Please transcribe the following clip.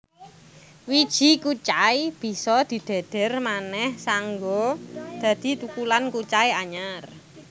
Wiji kucai bisa didhedher manéh saéngga dadi thukulan kucai anyar